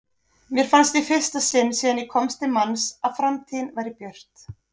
Mér fannst í fyrsta sinn síðan ég komst til manns að framtíðin væri björt.